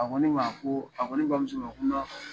A ko ne ma ko a ko ne bamuso ma ko n'a